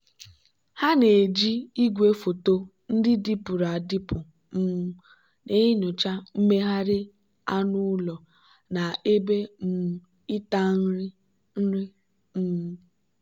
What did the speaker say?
ha na-eji igwefoto ndị dịpụrụ adịpụ um na-enyocha mmegharị anụ ụlọ na ebe um ịta nri. nri. um